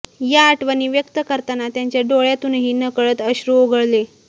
या आठवणी व्यक्त करताना त्यांच्या डोळ्यातूनही नकळत अश्रू ओघळले